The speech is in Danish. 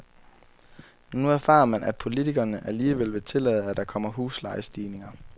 Nu erfarer man, at politikerne alligevel vil tillade, at der kommer huslejestigninger.